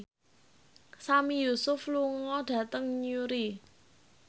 Sami Yusuf lunga dhateng Newry